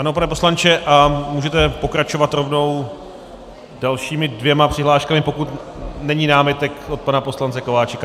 Ano, pane poslanče, a můžete pokračovat rovnou dalšími dvěma přihláškami, pokud není námitek od pana poslance Kováčika.